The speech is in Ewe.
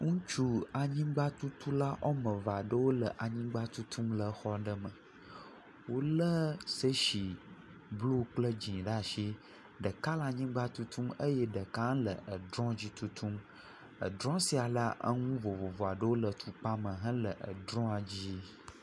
Ŋutsu anyigbatutu la wɔme eve aɖewo le anyigba tutum le xɔ aɖewo me. Wo le tsesi blu kple dzi ɖe asi. Ɖeka le anyigba tutum eye ɖeka le edrɔ dzi tutum. Edrɔ sia la eŋu vovovo aɖewo le tukpa me le edrɔ la dzi.